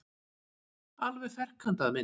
Alveg ferkantaða mynd.